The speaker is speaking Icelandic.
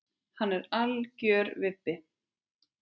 Hann er algjör vibbi.